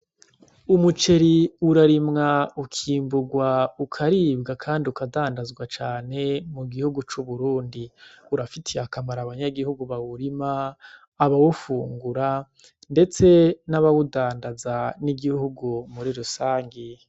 Umuceri urarimwa ukimburwa ukaribwa, kandi ukadandazwa cane mu gihugu c'uburundi urafitiye akamara abanyagihugu bawurima abawufungura, ndetse n'abawudandaza n'igihugu muri rusangi.